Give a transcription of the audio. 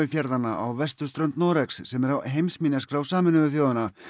fjarðanna á vesturströnd Noregs sem eru á heimsminjaskrá Sameinuðu þjóðanna